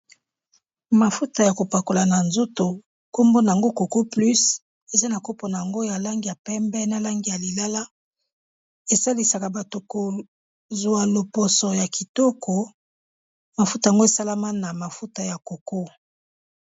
Mafuta ya kopakola na nzoto nkombo nango coco plus eza na kopo nango ya langi ya pembe na langi ya lilala, esalisaka bato kozwa loposo ya kitoko mafuta yango esalama na mafuta ya Coco.